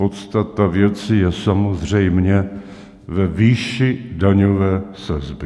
Podstata věci je samozřejmě ve výši daňové sazby.